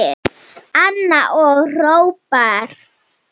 Anna og Róbert.